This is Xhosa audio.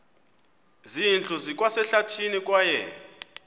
zindlu zikwasehlathini kwaye